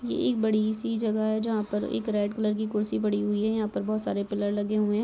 यह एक बड़ी सी जगह है जहा पर एक रेड कलर की कुर्सी पड़ी हुई है यहा पर बहोत सारे पिलर लगे हुए है।